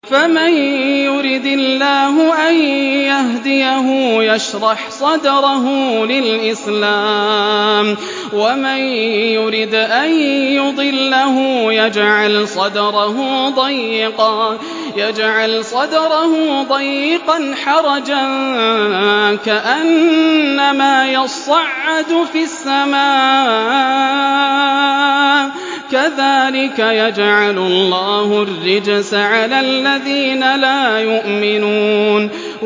فَمَن يُرِدِ اللَّهُ أَن يَهْدِيَهُ يَشْرَحْ صَدْرَهُ لِلْإِسْلَامِ ۖ وَمَن يُرِدْ أَن يُضِلَّهُ يَجْعَلْ صَدْرَهُ ضَيِّقًا حَرَجًا كَأَنَّمَا يَصَّعَّدُ فِي السَّمَاءِ ۚ كَذَٰلِكَ يَجْعَلُ اللَّهُ الرِّجْسَ عَلَى الَّذِينَ لَا يُؤْمِنُونَ